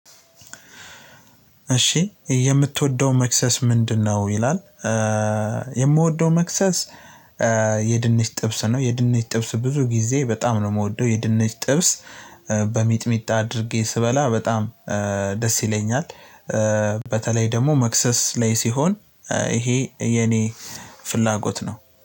እሺ "የምትወደው መክሰስ ምንድነው?" ይላል፣ የምወደው መክሰስ የድንች ጥብስ ነው። የድንች ጥብስ ብዙ ጊዜ በጣም ነው የምወደው። የድንች ጥብስ በሚጥሚጣ አድርጌ ስበላ በጣም ደስ ይለኛል በተለይ ደግሞ መክሰስ ላይ ሲሆን ይሄ የኔ ፍላጎት ነው።